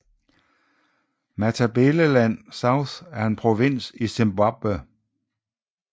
Matabeleland South er en provins i Zimbabwe